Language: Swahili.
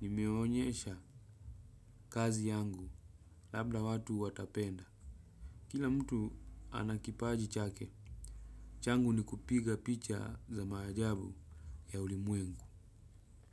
Nimeonyesha kazi yangu labda watu watapenda. Kila mtu ana kipaji chake changu ni kupiga picha za maajabu ya ulimwengu.